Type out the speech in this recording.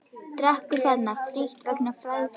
Drekkur þarna frítt vegna fyrri frægðar.